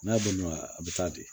N'a bolola a bɛ taa di